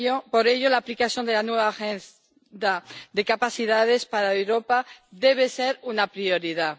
Por ello, la aplicación de la nueva Agenda de Capacidades para Europa debe ser una prioridad.